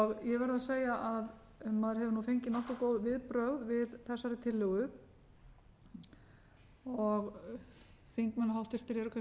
ég verð að segja að maður hefur fengið nokkuð góð viðbrögð við þessari tillögu háttvirtir þingmenn eru kannski ekki mjög